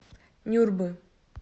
нюрбы